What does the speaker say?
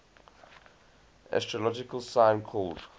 astrological sign called